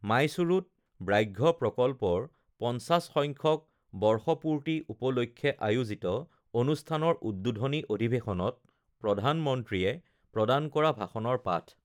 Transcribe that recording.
মাইসূৰুত ব্যাঘ্ৰ প্ৰকল্পৰ ৫০ সংখ্য বৰ্ষপূৰ্তি উপলক্ষে আয়োজিত অনুষ্ঠানৰ উদ্বোধনী অধিৱেশনত প্ৰধানমন্ত্ৰীয়ে প্ৰদান কৰা ভাষণৰ পাঠ